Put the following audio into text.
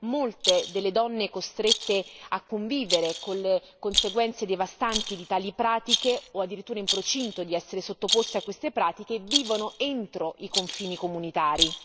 molte delle donne costrette a convivere con le conseguenze devastanti di tali pratiche o addirittura in procinto di essere sottoposte a queste pratiche vivono entro i confini comunitari.